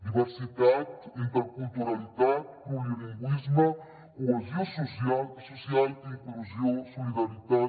diversitat interculturalitat plurilingüisme cohesió social inclusió solidaritat